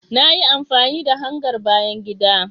Na yi amfani da hangar bayan gida